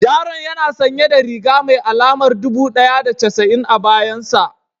Yaron yana sanye da riga mai alamar dubu ɗaya da casa'in a bayan sa